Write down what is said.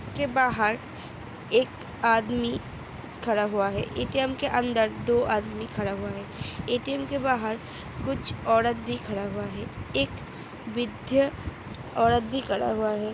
के बाहर एक आदमी खड़ा हुआ है एटीएम के अंदर दो आदमी खड़ा हुआ है| एटीएम के बाहर कुछ औरत भी खड़ा हुआ है एक विध्या औरत भी खड़ा हुआ है।